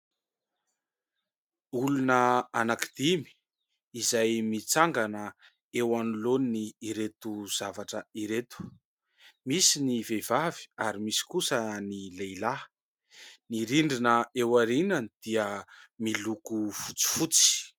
Olona anankidimy izay mitsangana eo anoloan'ireto zavatra ireto. Misy ny vehivavy ary misy kosa ny lehilahy. Ny rindrina eo aoriany dia miloko fotsifotsy.